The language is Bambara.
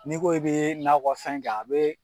N'i ko i bɛ nakɔ fɛn kɛ a bɛ